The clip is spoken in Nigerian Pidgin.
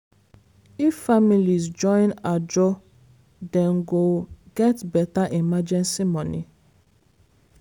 if families join "ajo" dem go get better emergency money.